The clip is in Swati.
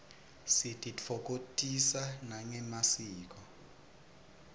sititfokotisa nangemasiko